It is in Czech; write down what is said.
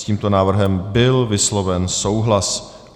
S tímto návrhem byl vysloven souhlas.